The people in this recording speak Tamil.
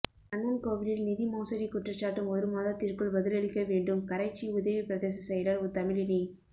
கண்ணன் கோவிலில் நிதி மோசடிகுற்றச்சாட்டு ஒரு மாத்திற்குள் பதிலளிக்க வேண்டும் கரைச்சி உதவி பிரதேச செயலர் தமிழினி